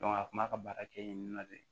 a kun b'a ka baara kɛ yen nɔ de